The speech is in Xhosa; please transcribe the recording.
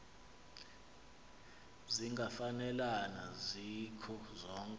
zingafanelana zikho zonke